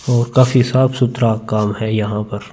और काफी सुथरा काम है यहाँ पर--